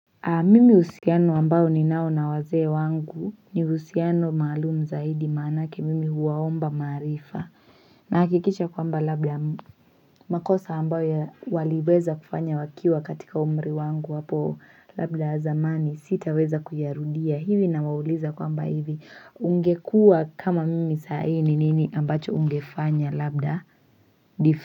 Mimi uhusiano ambao ni nao na wazee wangu ni usiyano maalumu zaidi manake mimi huwaomba maarifa na hakikisha kwamba labda makosa ambao ya waliweza kufanya wakiwa katika umri wangu wapo labda zamani sitaweza kuyarudia hivi na wauliza kwamba hivi ungekua kama mimi saa hiii ni nini ambacho ungefanya labda.